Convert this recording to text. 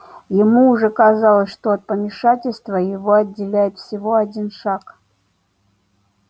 ему уже казалось что от помешательства его отделяет всего один шаг